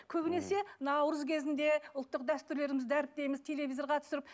көбінесе наурыз кезінде ұлттық дәстүрлерімізді дәріптейміз телевизорға түсіріп